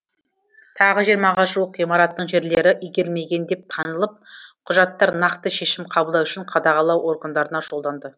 тағы жиырмаға жуық ғимараттың жерлері игерілмеген деп танылып құжаттар нақты шешім қабылдау үшін қадағалау органдарына жолданды